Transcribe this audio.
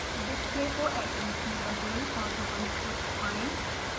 display को atoms में बदलें और ribbons को छुपायें